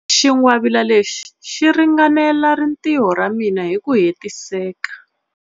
Xingwavila lexi xi ringanela rintiho ra mina hi ku hetiseka.